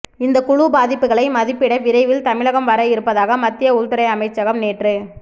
இந்த குழு பாதிப்புகளை மதிப்பிட விரைவில் தமிழகம் வர இருப்பதாக மத்திய உள்துறை அமைச்சகம் நேற்று